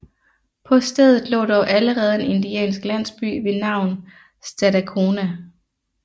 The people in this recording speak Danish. På stedet lå dog allerede en indiansk landsby ved navn Stadacona